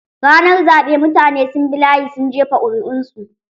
Ranar zaɓe mutane sun bi layi sun jefa ƙuri'un su.